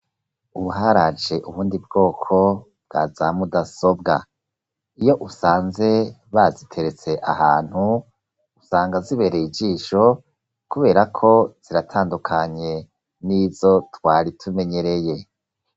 Uharaje ubundi bwoko bwa za mudasobwa iyo usanze baziteretse ahantu usanga zibereye ijisho, kubera ko ziratandukanye n'izo twari tumenyereye.